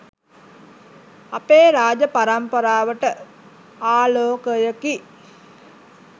අපේ රාජ, පරම්පරාවට ආලෝකයකි.